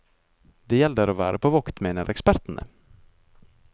Det gjelder å være på vakt, mener ekspertene.